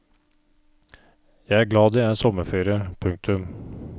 Jeg er glad det er sommerferie. punktum